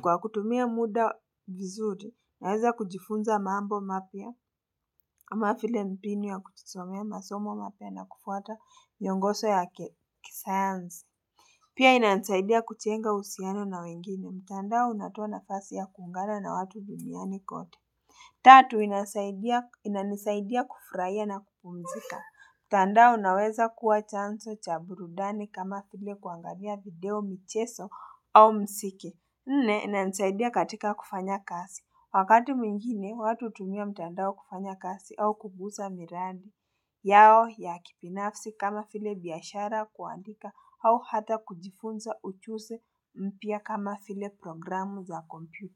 kwa kutumia muda vizuri naweza kujifunza mambo mapya kama vile mbinu ya kujisomea masomo mapya na kufuata miongozo ya kisayansi Pia inansaidia kujenga uhusiano na wengine. Mtandao unatoa nafasi ya kuungana na watu duniani kote. Tatu inanisaidia kufurahia na kupumzika. Mtandao unaweza kuwa chanzo cha burudani kama vile kuangalia video michezo au mziki. Nne inanisaidia katika kufanya kazi. Wakati mwingine, watu hutumia mtandao kufanya kazi au kuguza miradi. Yao ya kibinafsi kama vile biashara kuandika au hata kujifunza ujuzi mpya kama vile programu za kompyuta.